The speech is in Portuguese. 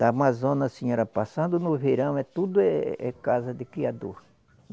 Da Amazônia, assim, era passando no verão, é tudo é casa de criador.